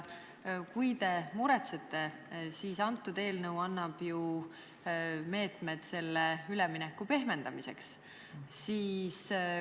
Kui te muretsete, siis see eelnõu annab ju meetmed ülemineku pehmendamiseks.